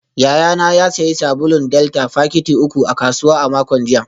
Yayana ya sayi sabulun delta fakiti uku a kasuwa a makon jiya